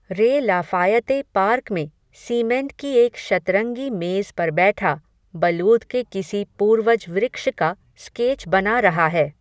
रे Lafayette park में, cement की एक शतरंगी मेज़ पर बैठा, बलूत के किसी पूर्वज वृक्ष का, स्केच बना रहा है